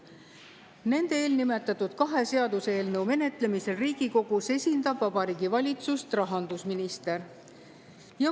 Nende eelnimetatud kahe seaduseelnõu menetlemisel Riigikogus esindab Vabariigi Valitsust rahandusminister.